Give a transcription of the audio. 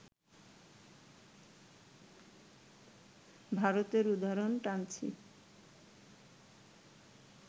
ভারতের উদাহরণ টানছি